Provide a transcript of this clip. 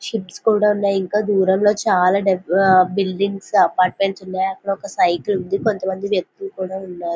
Ships కూడా ఉన్నాయి ఇంకా దూరంలో చాలా డబ్ ఆహ్ బిల్డింగ్స్ అపార్ట్మెంట్స్ ఉన్నాయి అక్కడొక సైకిల్ ఉంది కొంత మంది వ్యక్తులు కూడా ఉన్నారు.